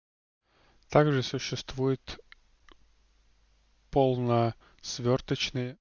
также существует полно свёрточные